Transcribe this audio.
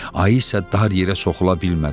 Ayı isə dar yerə soxula bilmədi.